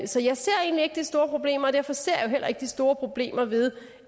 så jeg ser egentlig ikke det store problem og derfor ser jeg jo heller ikke de store problemer ved